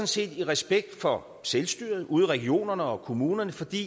set i respekt for selvstyret ude i regionerne og kommunerne fordi